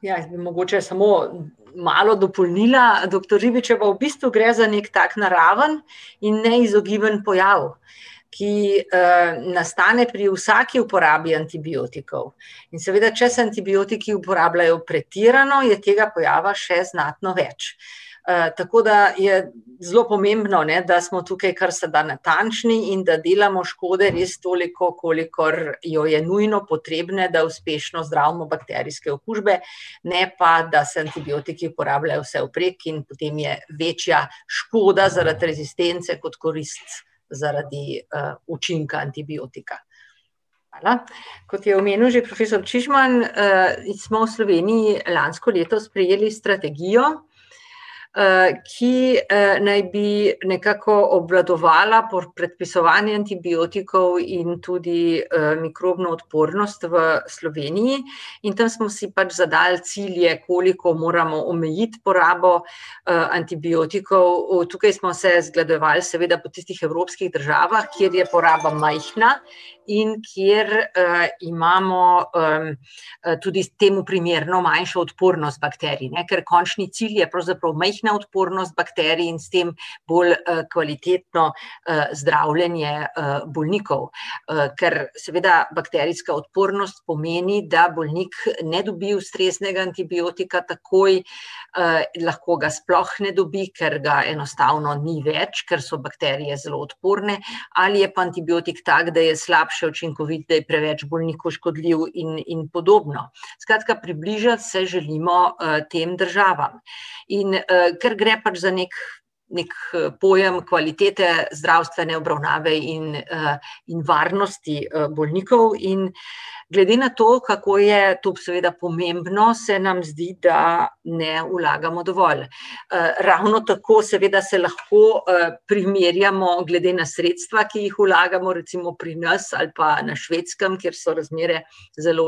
ja, jaz bi mogoče samo malo dopolnila doktor Ribičevo. V bistvu gre za neki tak naraven in neizogiben pojav, ki, nastane pri vsaki uporabi antibiotikov. In seveda, če se antibiotiki uporabljajo pretirano, je tega pojava še znatno več. tako da je zelo pomembno, ne, da smo tukaj kar se da natančni in da delamo škode res toliko, kolikor jo je nujno potrebne, da uspešno zdravimo bakterijske okužbe, ne pa da se antibiotiki uporabljajo vsevprek in potem je večja škoda zaradi rezistence kot korist zaradi, učinka antibiotika. Hvala. Kot je omenil že profesor Čižman, smo v Sloveniji lansko leto sprejeli strategijo, ki, naj bi nekako obvladovala predpisovanje antibiotikov in tudi, mikrobno odpornost v Sloveniji. In tam smo si pač zadali cilje, koliko moramo omejiti porabo, antibiotikov, tukaj smo se zgledovali seveda po tistih evropskih državah, kjer je poraba majhna in kjer, imamo, tudi temu primerno manjšo odpornost bakterij, ne, ker končni cilj je pravzaprav majhna odpornost bakterij in s tem bolj, kvalitetno, zdravljenje, bolnikov. ker seveda bakterijska odpornost pomeni, da bolnik ne dobi ustreznega antibiotika takoj, lahko ga sploh ne dobi, ker ga enostavno ni več, ker so bakterije zelo odporne, ali je pa antibiotik tak, da je slabše učinkovit, da je preveč bolniku škodljiv in in podobno. Skratka, približati se želimo, tem državam. In, ker gre pač za neki neki pojem kvalitete zdravstvene obravnave in, in varnosti bolnikov in glede na to, kako je to seveda pomembno, se nam zdi, da ne vlagamo dovolj. ravno tako seveda se lahko, primerjamo glede na sredstva, ki jih vlagamo, recimo pri nas ali pa na Švedskem, kjer so razmere zelo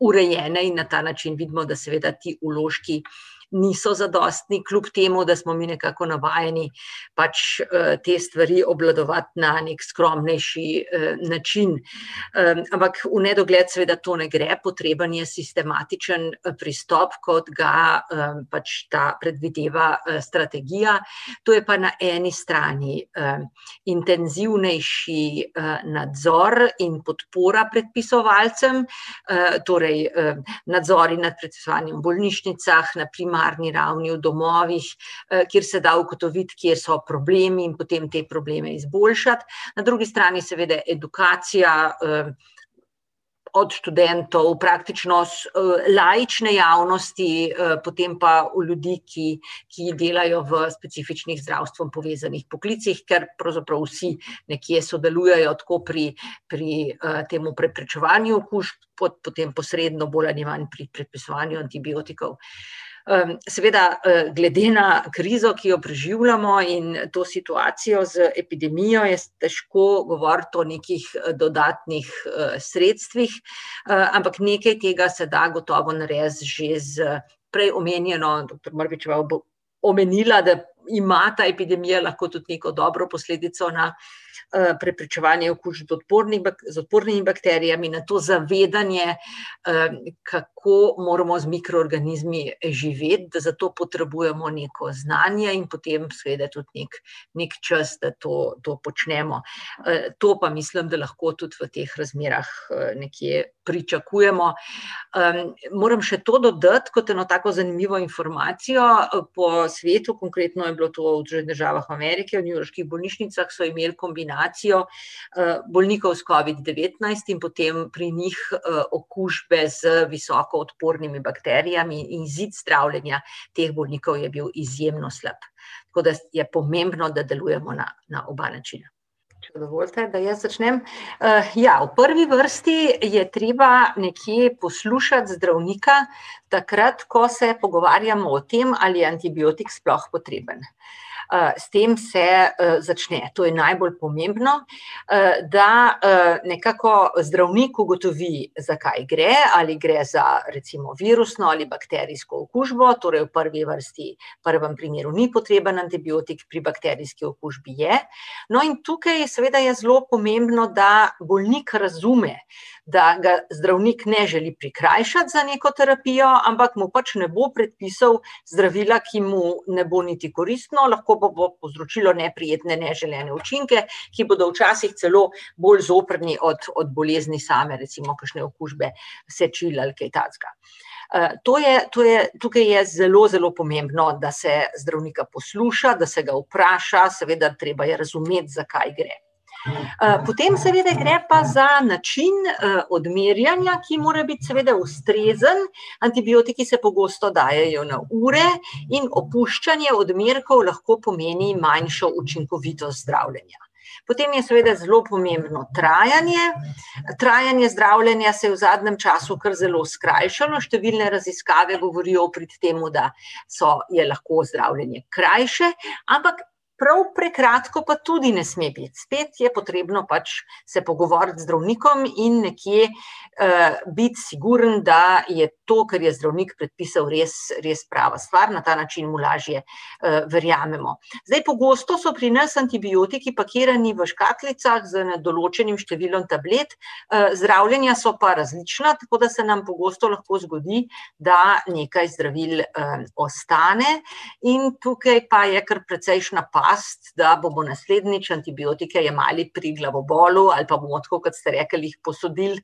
urejene, in na ta način vidimo, da seveda ti vložki niso zadostni, kljub temu, da smo mi nekako navajeni pač, te stvari obvladovati na neki skromnejši, način. ampak v nedogled seveda to ne gre, potreben je sistematičen pristop, kot ga, pač ta predvideva, strategija. To je pa na eni strani, intenzivnejši, nadzor in podpora predpisovalcem, torej, nadzori nad bolnišnicah, na primarni ravni, v domovih, kjer se da ugotoviti, kje so problemi in potem te probleme izboljšati. Na drugi strani seveda edukacija, od študentov, praktično laične javnosti, potem pa v ljudi, ki ki delajo v specifičnih z zdravstvom povezanih poklicih, ker pravzaprav vsi nekje sodelujejo tako pri pri, tem preprečevanju okužb kot potem posredno bolj ali manj pri predpisovanju antibiotikov. seveda, glede na krizo, ki jo preživljamo, in to situacijo z epidemijo je težko govoriti o nekih dodatnih, sredstvih, ampak nekaj tega se da gotovo narediti že s prej omenjeno, doktor Barbičeva omenila, da ima ta epidemija lahko tudi neko dobro posledico na, preprečevanje okužb z odporni z odpornimi bakterijami, nato zavedanje, kako moramo z mikroorganizmi živeti, zato potrebujemo neko znanje in potem seveda tudi neki, neki čas, da to to počnemo. to pa mislim, da lahko tudi v teh razmerah, nekje pričakujemo. moram še to dodati kot eno tako zanimivo informacijo. po svetu, konkretno je bilo to v Združenih državah Amerike, v newyorških bolnišnicah, so imeli kombinacijo, bolnikov s covid-devetnajst in potem pri njih, okužbe z visoko odpornimi bakterijami, izid zdravljenja teh bolnikov je bil izjemno slab. Tako da je pomembno, da delujemo na, na oba načina. Če dovolite, da jaz začnem. ja, v prvi vrsti je treba nekje poslušati zdravnika, takrat, ko se pogovarjamo o tem, ali je antibiotik sploh potreben. s tem se, začne, to je najbolj pomembno, da, nekako zdravnik ugotovi, za kaj gre, ali gre za, recimo virusno ali bakterijsko okužbo, torej v prvi vrsti, v prvem primeru ni potreben antibiotik, pri bakterijski okužbi je. No, in tukaj seveda je zelo pomembno, da bolnik razume, da ga zdravnik ne želi prikrajšati za neko terapijo, ampak mu pač ne bo predpisal zdravila, ki mu ne bo niti koristno, lahko pa bo povzročilo neprijetne, neželene učinke, ki bodo včasih celo bolj zoprni od od bolezni same, recimo kakšne okužbe sečil ali kaj takega. to je, to je, tukaj je zelo zelo pomembno, da se zdravnika posluša, da se ga vpraša, seveda treba je razumeti, za kaj gre. potem seveda gre pa za način, odmerjanja, ki mora biti seveda ustrezen, antibiotiki se pogosto dajejo na ure in opuščanje odmerkov lahko pomeni manjšo učinkovitost zdravljenja. Potem je seveda zelo pomembno trajanje. Trajanje zdravljenja se je v zadnjem času kar zelo skrajšalo, številne raziskave govorijo v prid temu, da so, je lahko zdravljenje krajše, ampak prav prekratko pa tudi ne sme biti, spet je potrebno pač se pogovoriti z zdravnikom in nekje, biti siguren, da je to, kar je zdravnik predpisal, res, res prava stvar, na ta način mu lažje, verjamemo. Zdaj pogosto so pri nas antibiotiki pakirani v škatlicah z nedoločenim številom tablet, zdravljenja so pa različna, tako da nam pogosto lahko zgodi, da nekaj zdravil, ostane in tukaj pa je kar precejšnja past, da bomo naslednjič antibiotike jemali pri glavobolu ali pa bomo tako, kot ste rekli, jih posodili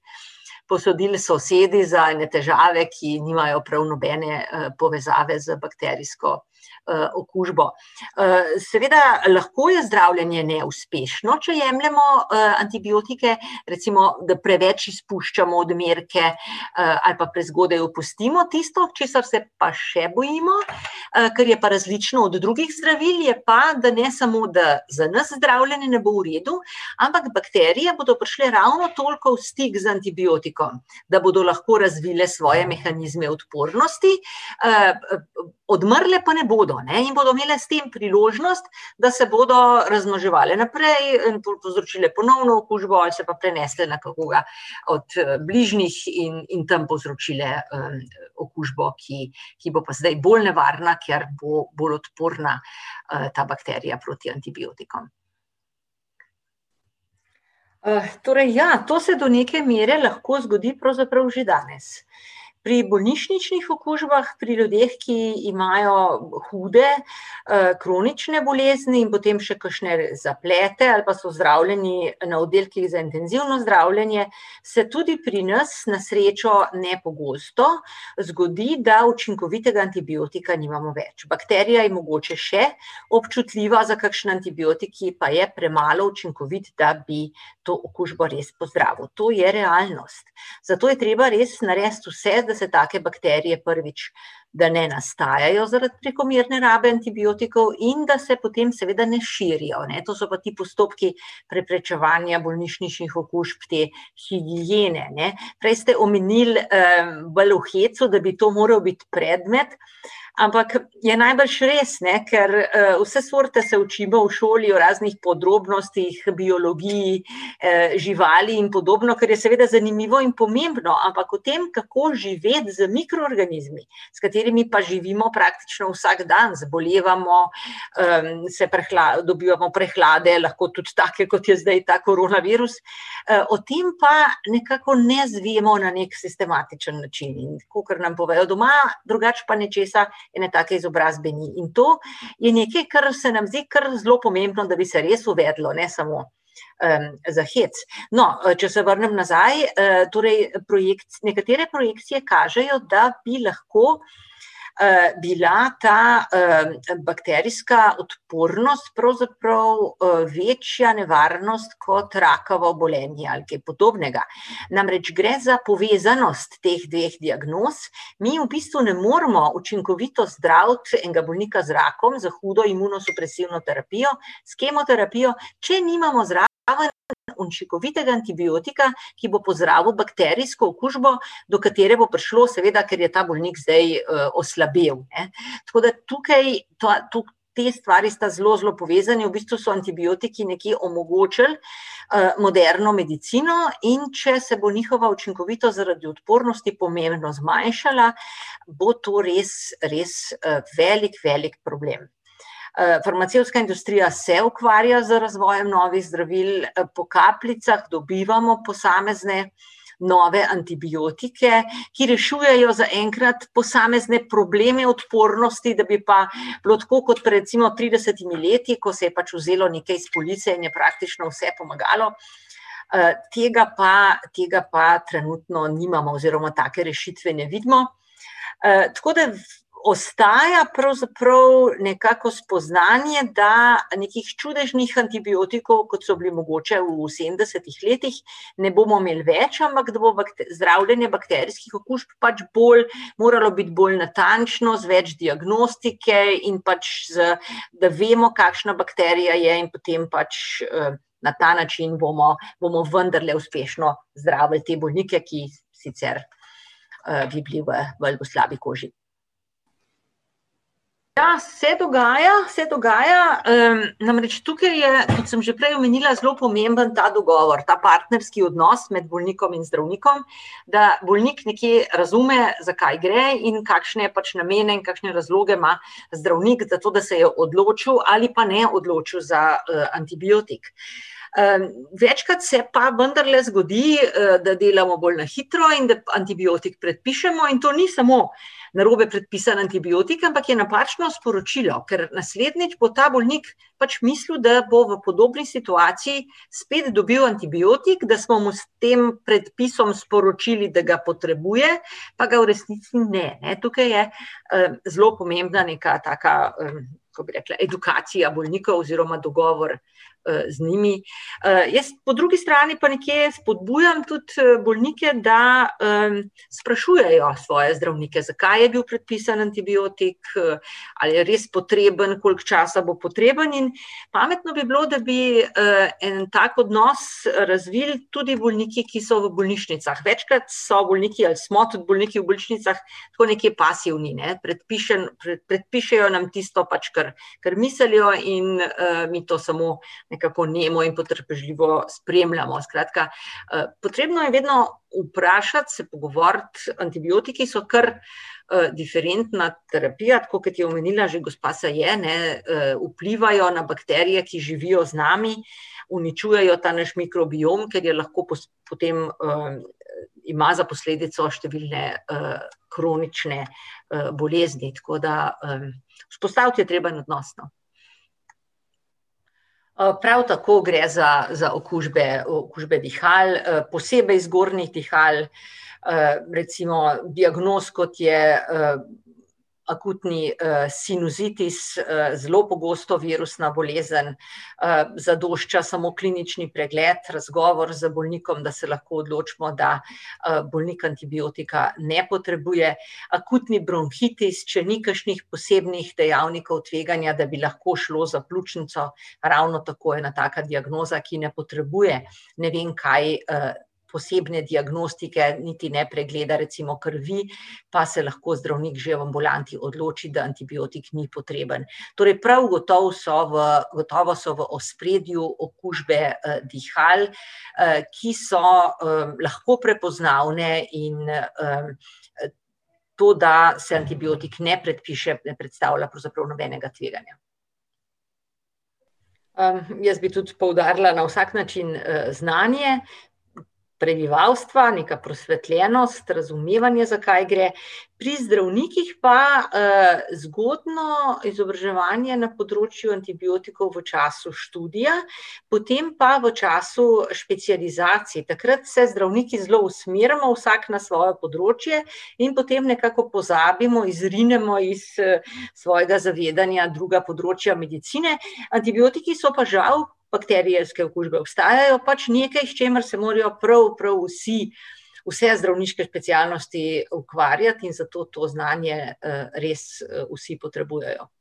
posodili sosedi za ene težave, ki nimajo prav nobene, povezave z bakterijsko, okužbo. seveda lahko je zdravljenje neuspešno, če jemljemo, antibiotike, recimo, da preveč izpuščamo odmerke, ali pa prezgodaj opustimo. Tisto, česar se pa še bojimo, kar je pa različno od drugih zdravil, je pa, da ne samo, da za nas zdravljenje ne bo v redu, ampak bakterije bodo prišle ravno toliko v stik z antibiotikom, da bodo lahko razvile svoje mehanizme odpornosti, odmrle pa ne bodo, ne, in bodo imele s tem priložnost, da se bodo razmnoževale naprej, pol povzročile ponovno okužbo, ali se pa prenesle na koga od, bližnjih in in tam povzročile, okužbo, ki ki bo pa zdaj bolj nevarna, ker bo bolj odporna, ta bakterija proti antibiotikom. torej ja, to se do neke mere lahko zgodi pravzaprav že danes. Pri bolnišničnih okužbah, pri ljudeh, ki imajo hude, kronične bolezni in potem še kakšne zaplete ali pa so zdravljeni na oddelkih za intenzivno zdravljenje, se tudi pri nas, na srečo ne pogosto, zgodi, da učinkovitega antibiotika nimamo več, bakterija je mogoče še občutljiva za kakšen antibiotik, ki pa je premalo učinkovit, da bi to okužbo res pozdravil, to je realnost. Zato je treba res narediti vse, da se take bakterije, prvič, da ne nastajajo zaradi prekomerne rabe antibiotikov in da se potem seveda ne širijo, ne, to so pa ti postopki preprečevanja bolnišničnih okužb, te higiene, ne. Prej ste omenili, bolj v hecu, da bi to moral biti predmet, ampak je najbrž res, ne, ker, vse sorte se učimo v šoli, o raznih podrobnostih, biologiji, živali in podobno, kar je seveda zanimivo in pomembno, ampak o tem, kako živeti z mikroorganizmi, s katerimi pa živimo praktično vsak dan - zbolevamo, se dobivamo prehlade, lahko tudi take, kot je zdaj ta koronavirus, o tem pa nekako ne izvemo na neki sistematičen način, in kakor nam povejo doma, drugače pa nečesa, ene take izobrazbe ni. In to je nekaj, kar se nam zdi kar zelo pomembno, da bi se res uvedlo, ne samo, za hec. No, če se vrnem nazaj, torej nekatere projekcije kažejo, da bi lahko, bila ta, bakterijska odpornost, pravzaprav, večja nevarnost kot rakava obolenja ali kaj podobnega. Namreč gre za povezanost teh dveh diagnoz. Mi v bistvu ne moremo učinkovito zdraviti enega bolnika z rakom za hudo imunosupresivno, s kemoterapijo, če nimamo zraven učinkovitega antibiotika, ki bo pozdravil bakterijsko okužbo, do katere bo prišlo, seveda ker je ta bolnik zdaj, oslabel, ne. Tako da tukaj pa tako te stvari sta zelo zelo povezani, v bistvu so antibiotiki nekje omogočili, moderno medicino, in če se bo njihova učinkovitost zaradi odpornosti pomembno zmanjšala, bo to res, res, velik, velik problem. farmacevtska industrija se ukvarja z razvojem novih zdravil, po kapljicah dobivamo posamezne nove antibiotike, ki rešujejo zaenkrat posamezne probleme odpornosti, da bi pa bilo tako kot recimo pred tridesetimi leti, ko se je pač vzelo nekaj iz police in je praktično vse pomagalo, tega pa, tega pa trenutno nimamo oziroma take rešitve ne vidimo. tako da ostaja pravzaprav nekako spoznanje, da nekih čudežnih antibiotikov, kot so bili mogoče v sedemdesetih letih, ne bomo imeli več, ampak da bo zdravljenje bakterijskih okužb pač bolj, moralo biti bolj natančno, z več diagnostike in pač z, da vemo, kakšna bakterija je, in potem pač, na ta način bomo bomo vendarle uspešno zdravili te bolnike, ki jih sicer, bolj po slabi koži. Ja, se dogaja, se dogaja. namreč tukaj je, kot sem že prej omenila, zelo pomemben ta dogovor, ta partnerski odnos med bolnikom in zdravnikom, da bolnik nekje razume, za kaj gre in kakšne pač namene in kakšne razloge ima zdravnik zato, da se je odločil ali pa ne odločil za, antibiotik. Večkrat se pa vendarle zgodi, da delamo bolj na hitro in da antibiotik predpišemo, in to ni samo narobe predpisan antibiotik, ampak je napačno sporočilo, ker naslednjič bo ta bolnik pač mislil, da bo v podobni situaciji spet dobil antibiotik, da smo mu s tem predpisom sporočili, da ga potrebuje, pa ga v resnici ne, ne. Tukaj je, zelo pomembna neka taka, kako bi rekla, edukacija bolnikov oziroma dogovora, z njimi. jaz, po drugi strani, pa nekje spodbujam tudi bolnike, da, sprašujejo svoje zdravnike, zakaj je bil predpisan antibiotik, a je res potreben, koliko časa bo potreben, in pametno bi bilo, da bi, en tak odnos razvili tudi bolniki, ki so v bolnišnicah. Večkrat so bolniki ali smo tudi bolniki v bolnišnicah tako nekje pasivni, ne, predpišejo nam tisto pač, kar, kar mislijo in, mi to samo nekako nemo in potrpežljivo spremljamo. Skratka, potrebno je vedno vprašati, se pogovoriti, antibiotiki so kar, diferentna terapija, tako kot je omenila že gospa Saje, ne, vplivajo na bakterije, ki živijo z nami, uničujejo ta naš mikrobiom, kar je lahko potem, ima za posledico številne, kronične, bolezni, tako da, vzpostaviti je treba en odnos, no. prav tako gre za za okužbe, okužbe dihal, posebej zgornjih dihal, recimo diagnoz, kot je, akutni, sinusitis, zelo pogosto virusna bolezen. zadošča samo klinični pregled, razgovor z bolnikom, da se lahko odločimo, da, bolnik antibiotika ne potrebuje. Akutni bronhitis, če ni kakšnih posebnih dejavnikov tveganja, da bi lahko šlo za pljučnico, ravno tako ena taka diagnoza, ki ne potrebuje ne vem kaj, posebne diagnostike, niti ne pregleda recimo krvi, pa se lahko zdravnik že v ambulanti odloči, da antibiotik ni potreben. Torej prav gotovo so v, gotovo so v ospredju okužbe, dihal, ki so, lahko prepoznavne in, to, da se antibiotik ne predpiše, ne predstavlja pravzaprav nobenega tveganja. jaz bi tudi poudarila na vsak način, znanje prebivalstva, neka prosvetljenost, razumevanje, za kaj gre. Pri zdravnikih pa, zgodno izobraževanje na področju antibiotikov v času študija, potem pa v času specializacije, takrat se zdravniki zelo usmerimo, vsak na svoje področje, in potem nekako pozabimo, izrinemo iz, svojega zavedanja druga področja medicine, antibiotiki so pa žal, bakterijske okužbe ostajajo pač nekaj, s čimer se morajo prav prav vsi, vse zdravniške specialnosti ukvarjati, in zato to znanje, res, vsi potrebujejo.